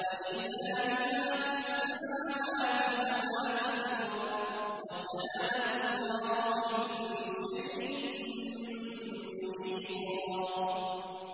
وَلِلَّهِ مَا فِي السَّمَاوَاتِ وَمَا فِي الْأَرْضِ ۚ وَكَانَ اللَّهُ بِكُلِّ شَيْءٍ مُّحِيطًا